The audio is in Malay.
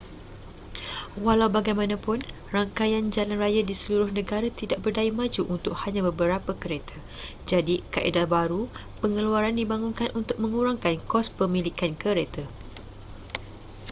walau bagaimanapun rangkaian jalan raya di seluruh negara tidak berdaya maju untuk hanya beberapa kereta jadi kaedah baharu pengeluaran dibangunkan untuk mengurangkan kos pemilikan kereta